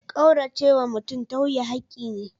Kauracewa mutum tauye hakki ne.